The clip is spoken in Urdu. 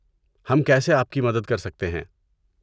ہم کیسے آپ کی مدد کر سکتے ہیں؟